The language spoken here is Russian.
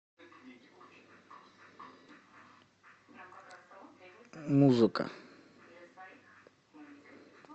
музыка